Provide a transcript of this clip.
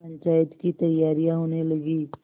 पंचायत की तैयारियाँ होने लगीं